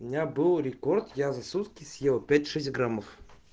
у меня был рекорд я за сутки съел пять шесть граммов